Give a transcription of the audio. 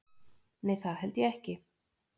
Nei það held ég ekki